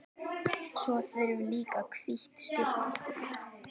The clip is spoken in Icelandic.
Svo þurfum við líka hvítt stykki.